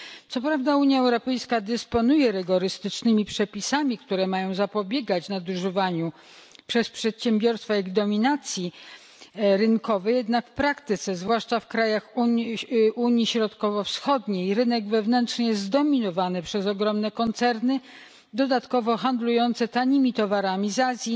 Co prawda Unia Europejska dysponuje rygorystycznymi przepisami, które mają zapobiegać nadużywaniu przez przedsiębiorstwa ich dominacji rynkowej, jednak w praktyce, zwłaszcza w krajach Europy Środkowo Wschodniej, rynek wewnętrzny jest zdominowany przez ogromne koncerny, dodatkowo handlujące tanimi towarami z Azji,